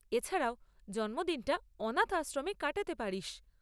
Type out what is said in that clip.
এছাড়াও, জন্মদিনটা অনাথ আশ্রমে কাটাতে পারিস।